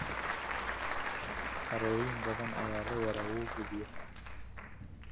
Harooyin badan ayaa leh waraabowga biyaha.